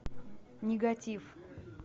негатив